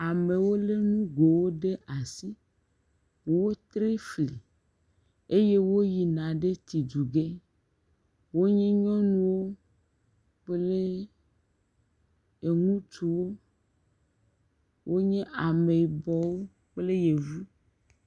Amewo le nugowo ɖe asi. Wotre fli eye woyina ɖe tsiduge. Wonye nyɔnuwo kple eŋutsuwo. Wonye ameyibɔwo kple yevu.